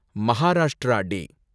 Maharashtra டே